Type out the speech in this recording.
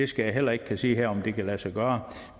skal heller ikke kunne sige her om det kan lade sig gøre